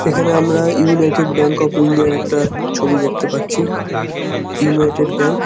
এখানে আমরা United Bank of India -র একটা ছবি দেখতে পাচ্ছি। United Bank.